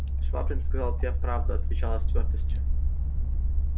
швабрин сказал тебе правду отвечал я с твёрдостию